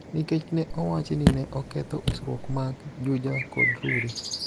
nikech ne owachi ni ne oketho usruok mag Juja kod Rurii.